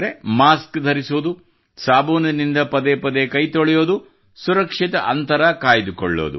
mask ಧರಿಸುವುದು ಸಾಬೂನಿನಿಂದ ಪದೇ ಪದೇ ಕೈತೊಳೆಯುವುದು ಸುರಕ್ಷಿತ ಅಂತರ ಕಾಯ್ದುಕೊಳ್ಳುವುದು